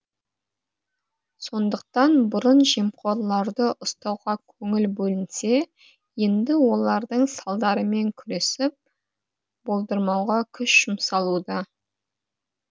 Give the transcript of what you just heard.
сондықтан бұрын жемқорларды ұстауға көңіл бөлінсе енді олардың салдарымен күресіп болдырмауға күш жұмсалуда